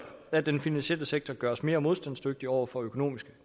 at den finansielle sektor gøres mere modstandsdygtig over for økonomiske